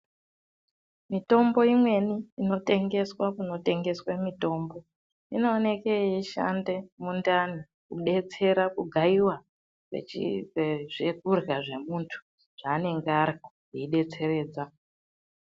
Mitombo imweni ino tengeswa kuno tengeswe mitombo ino oneke yei shande mu ndani ku detsera ku gayiwa zvekurya zve muntu zva anenge arya zvei detseredza.